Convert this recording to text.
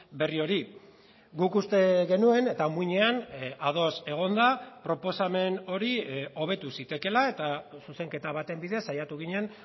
berri hori guk uste genuen eta muinean ados egonda proposamen hori hobetu zitekeela eta zuzenketa baten bidez saiatu ginen